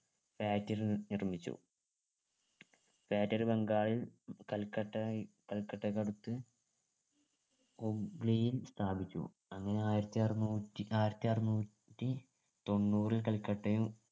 factory നിർ നിർമ്മിച്ചു factory ബംഗാളിൽ കൽക്കട്ട കൽക്കട്ടക്കടുത്ത് ഹുഗ്ലിയിൽ സ്ഥാപിച്ചു അങ്ങനെ ആയിരത്തിഅറുന്നൂറ്റി ആയിരത്തിഅറുന്നൂറ്റി തൊണ്ണൂറിൽ കൽക്കട്ടയും